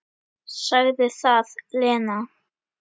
Sagði það, Lena.